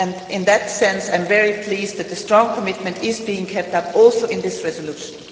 In that sense, too, I am very pleased that the strong commitment is being kept up in this resolution.